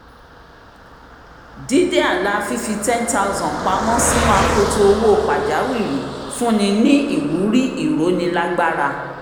dídé àlà fífi $10000 pamọ́ sínú akoto owó pàjáwìrì fún ni ní ìwúrí ìrónilágbára